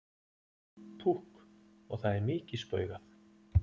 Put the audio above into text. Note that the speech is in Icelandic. Púkk og það er mikið spaugað.